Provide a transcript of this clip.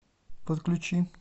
подключи